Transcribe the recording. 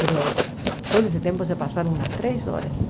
Mas todo esse tempo se passaram umas três horas.